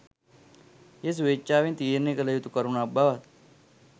එය ස්වේච්ඡාවෙන් තීරණය කළ යුතු කරුණක් බවත්